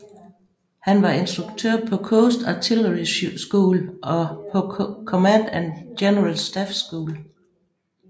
Han var instruktør på Coast Artillery School og på Command and General Staff School